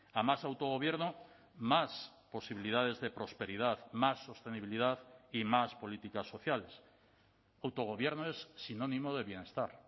a más autogobierno más posibilidades de prosperidad más sostenibilidad y más políticas sociales autogobierno es sinónimo de bienestar